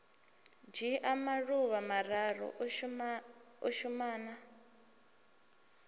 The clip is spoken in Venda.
dzhia maḓuvha mararu u shumana